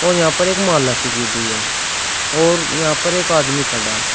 और यहां पर एक माला सी गिर रही है और यहां पर एक आदमी खड़ा है।